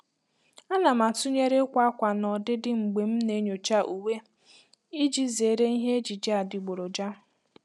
A na m atụnyere ịkwa akwa na ọdịdị mgbe m na-enyocha uwe iji zere ihe ejiji adịgboroja.